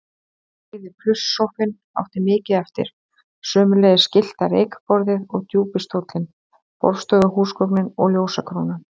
Rauði plusssófinn átti mikið eftir, sömuleiðis gyllta reykborðið og djúpi stóllinn, borðstofuhúsgögnin og ljósakrónan.